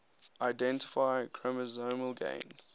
identify chromosomal gains